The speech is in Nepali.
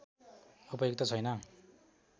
उपयुक्त छैन